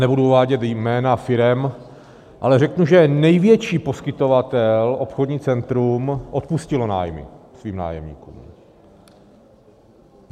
Nebudu uvádět jména firem, ale řeknu, že největší poskytovatel, obchodní centrum, odpustilo nájmy svým nájemníkům.